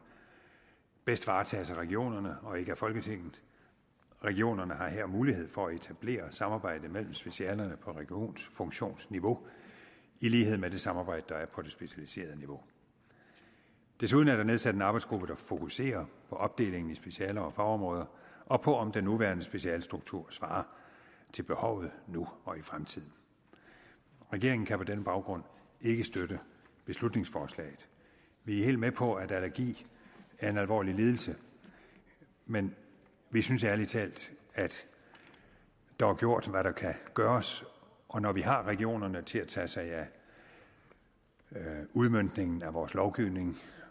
bedst varetages af regionerne og ikke af folketinget regionerne har her mulighed for at etablere samarbejde mellem specialerne på regionsfunktionsniveau i lighed med det samarbejde der er på det specialiserede niveau desuden er der nedsat en arbejdsgruppe der fokuserer på opdelingen i specialer og fagområder og på om den nuværende specialestruktur svarer til behovet nu og i fremtiden regeringen kan på den baggrund ikke støtte beslutningsforslaget vi er helt med på at allergi er en alvorlig lidelse men vi synes ærlig talt at der er gjort hvad der kan gøres og når vi har regionerne til at tage sig af udmøntningen af vores lovgivning